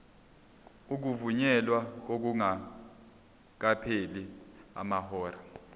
ukuvunyelwa kungakapheli amahora